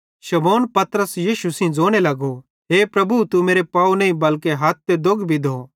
शमौन पतरस यीशु सेइं ज़ोने लगो हे प्रभु तू मेरे पाव नईं बल्के हथ ते दोग भी धो